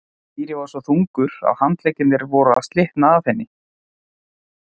Týri var svo þungur að handleggirnir voru að slitna af henni.